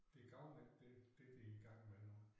Det gavner ikke dem det de i gang med nu